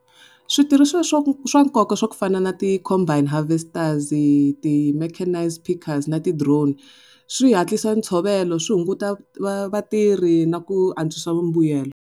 Switirhisiwa swa swa nkoka swa ku fana na ti-combine harvesters-i, ti-mechanised pickers na ti-drone, swi hatlisa ntsovelo swi hunguta vatirhi na ku antswisa vumbuyelo.